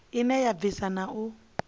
ine ya bvisa na u